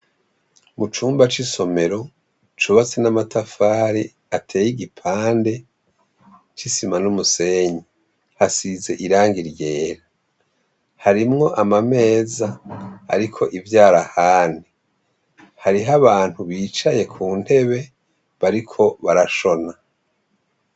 Mucumba cisomero cubatse namatafari ateye igipande cisima numusenyi hasize irangi ryera harimwo amameza ariko ivyara ahandi hariho abantu bicaye kuntebe bariko barashona